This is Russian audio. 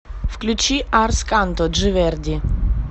включи арс канто джи верди